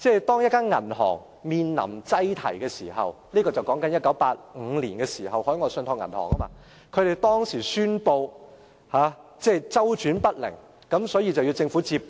當一間銀行面臨擠提，說的是1985年海外信託銀行的情況，銀行當時宣布周轉不靈，所以要交由政府接管......